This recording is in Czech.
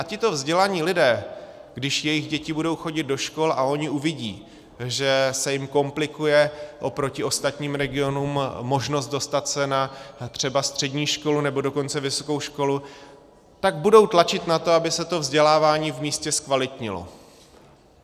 A tito vzdělaní lidé, když jejich děti budou chodit do škol a oni uvidí, že se jim komplikuje oproti ostatním regionům možnost dostat se třeba na střední školu, nebo dokonce vysokou školu, tak budou tlačit na to, aby se to vzdělávání v místě zkvalitnilo.